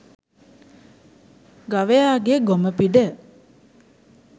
ගවයාගේ ගොම පිඬ